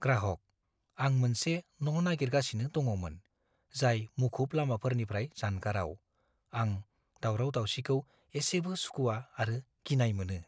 ग्राहक: "आं मोनसे न' नागिरगासिनो दङमोन, जाय मुखुब लामाफोरनिफ्राय जानगाराव - आं दावराव-दावसिखौ एसेबो सुखुआ आरो गिनाय मोनो।"